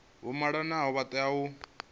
vha malanaho vha tea u